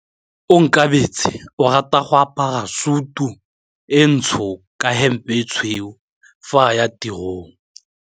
Onkabetse o rata go apara sutu e ntsho ka hempe e tshweu fa a ya tirong.